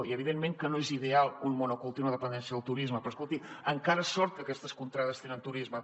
i evidentment que no és ideal un monocultiu una dependència del turisme però escolti encara sort que aquestes contrades tenen turisme